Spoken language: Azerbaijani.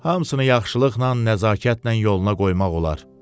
Hamısını yaxşılıqla, nəzakətlə yoluna qoymaq olar.